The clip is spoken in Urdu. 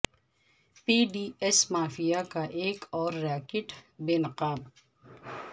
پی ڈی ایس مافیا کا ایک اور ریاکٹ بے نقاب